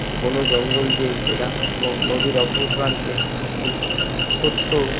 ঘন জঙ্গল দেয়া ঘেরা এবং নদীর ওপর প্রান্তে একটি ছোট্ট--